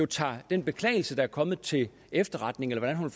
tager den beklagelse der er kommet til efterretning eller hvordan hun